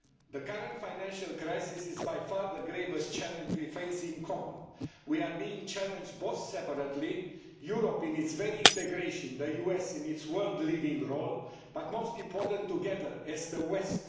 Madam President, the current financial crisis is by far the gravest challenge we face in common. We are being challenged both separately Europe in its very integration, the US in its world leading role but most importantly together as the West.